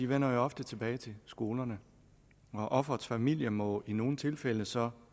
vender jo ofte tilbage til skolerne og offerets familie må i nogle tilfælde så